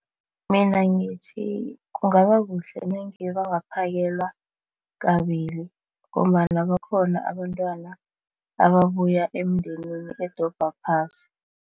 Mina ngithi kungaba kuhle nange bangaphakelwa kabili ngombana bakhona abantwana ababuya emindenini edobha phasi.